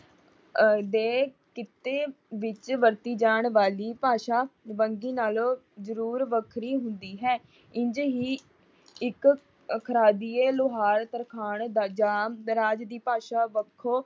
ਦੇ ਕਿੱਤੇ ਵਿੱਚ ਵਰਤੀ ਜਾਣ ਵਾਲੀ ਭਾਸ਼ਾ ਵੰਨਗੀ ਨਾਲੋਂ ਜਰੂਰ ਵੱਖਰੀ ਹੁੰਦੀ ਹੈ। ਇੰਝ ਹੀ ਇੱਕ ਖਰਾਦੀਏ, ਲਾਹੌਰ, ਤਰਖਾਣ ਜਾਂ ਦਰਾਜ ਦੀ ਭਾਸ਼ਾ ਵੱਖੋ